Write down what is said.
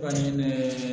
Kɔni ne